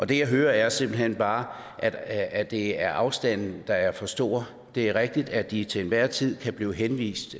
det jeg hører er simpelt hen bare at det er afstanden der er for stor det er rigtigt at de til enhver tid kan blive henvist